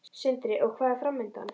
Sindri: Og hvað er framundan?